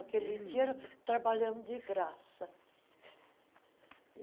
Aquele dinheiro trabalhamos de graça.